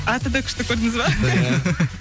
аты да күшті көрдіңіз бе